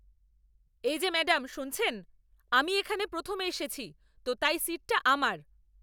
এই যে ম্যাডাম শুনছেন, আমি এখানে প্রথমে এসেছি তো তাই সিটটা আমার!